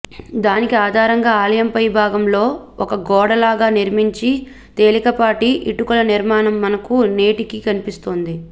దానికి ఆధారంగా ఆలయంపై భాగంలో ఒక గోడలాగా నిర్మించి తేలికపాటి ఇటుకలనిర్మాణం మనకు నేటికీ కనిపిస్తోంది